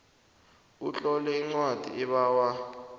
utlole incwadi ebawa